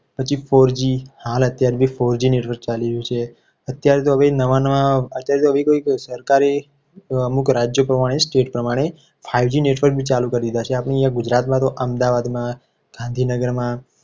પછી four g હાલ અત્યારે જે four g network ચાલી રહ્યું છે. અત્યારે તો હવે નવા નવા સરકારી અમુક રાજ્યો રાજ્ય પ્રમાણે state પ્રમાણે five g network બી ચાલુ કરી દીધા છે. આપણે અહીંયા ગુજરાતમાં અમદાવાદમાં ગાંધીનગરમાં